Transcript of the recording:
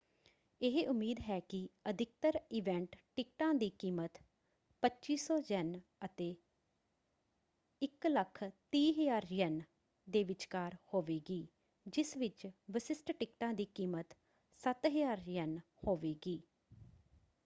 ਇਹ ਉਮੀਦ ਹੈ ਕਿ ਅਧਿਕਤਰ ਇਵੈਂਟ ਟਿਕਟਾਂ ਦੀ ਕੀਮਤ ¥2,500 ਅਤੇ ¥130,000 ਦੇ ਵਿਚਕਾਰ ਹੋਵੇਗੀ ਜਿਸ ਵਿੱਚ ਵਿਸ਼ਿਸ਼ਟ ਟਿਕਟਾਂ ਦੀ ਕੀਮਤ ¥7,000 ਹੋਵੇਗੀ।